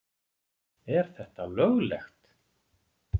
Er þetta löglegt??!!